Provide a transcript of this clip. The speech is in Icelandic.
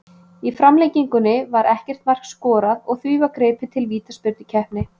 Í framlengingunni var ekkert mark skorað og var því gripið til vítaspyrnukeppni.